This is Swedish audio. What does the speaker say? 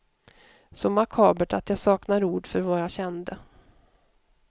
Så makabert att jag saknar ord för vad jag kände.